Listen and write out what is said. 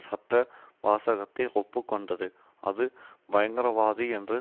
சட்ட வாசகத்தை ஒப்பு கொண்டது அது பயங்கரவாதி என்று